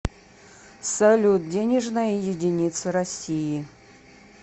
салют денежная единица россии